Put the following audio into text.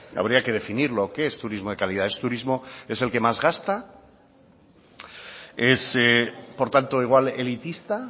habría que definirlo qué es turismo de calidad es turismo es el que más gasta es por tanto igual elitista